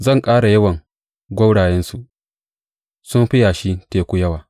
Zan ƙara yawan gwaurayensu su fi yashin teku yawa.